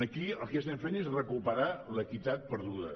aquí el que estem fent és recuperar l’equitat perduda